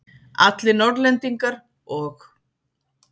Allir Norðlendingar og